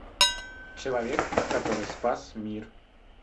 человек который спас мир